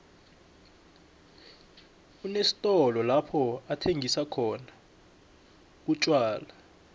unesitolo lapho athengisa khona umtjwala